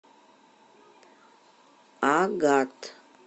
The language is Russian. агат